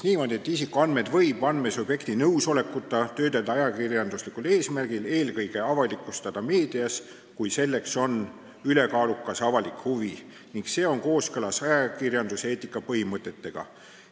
Nimelt, isikuandmeid võib andmesubjekti nõusolekuta töödelda ajakirjanduslikul eesmärgil, eelkõige avalikustada meedias, kui selleks on ülekaalukas avalik huvi ning see on kooskõlas ajakirjanduseetika põhimõtetega.